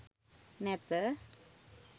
නැත